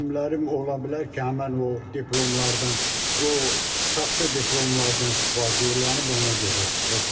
Müəllimlərim ola bilər ki, həmin o diplomlardan o saxta diplomlardan istifadə elənib, ona görə çıxıb.